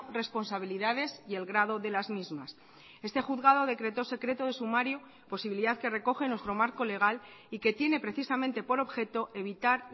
responsabilidades y el grado de las mismas este juzgado decretó secreto de sumario posibilidad que recoge nuestro marco legal y que tiene precisamente por objeto evitar